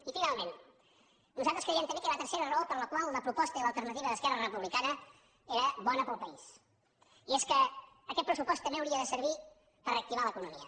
i finalment nosaltres creiem també que hi ha una tercera raó per la qual la proposta i l’alternativa d’esquerra republicana eren bones per al país i és que aquest pressupost també hauria de servir per reactivar l’economia